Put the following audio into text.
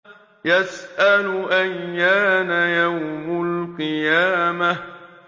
يَسْأَلُ أَيَّانَ يَوْمُ الْقِيَامَةِ